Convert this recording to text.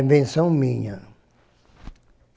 Invenção minha.